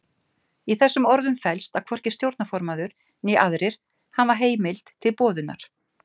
Í þessum orðum felst að hvorki stjórnarformaður né aðrir hafa heimild til boðunar.